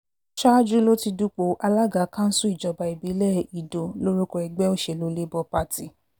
ṣáájú ló ti dúpọ̀ alága kanṣu ìjọba ìbílẹ̀ ido lórúkọ ẹgbẹ́ òṣèlú labour party